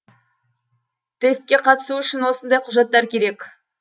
тестке қатысу үшін осындай құжаттар керек